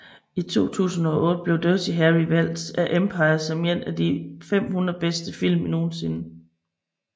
I 2008 blev Dirty Harry valgt af Empire som en af de 500 bedste film nogensinde